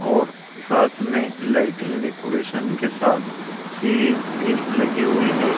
और साथ में लाइटिंग डेकोरेशन के साथ सीरिज भी लगी हुई हैं।